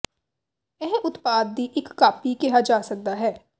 ਇਹ ਉਤਪਾਦ ਦੀ ਇੱਕ ਕਾਪੀ ਕਿਹਾ ਜਾ ਸਕਦਾ ਹੈ